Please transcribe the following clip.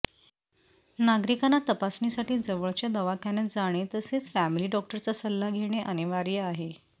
नागरिकांना तपासणीसाठी जवळच्या दवाखान्यात जाणे तसेच फॅमिली डॉक्टरचा सल्ला घेणे अनिवार्य आहे